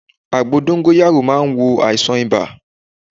Àgbo dóngóyárò má n wo àìsàn ibà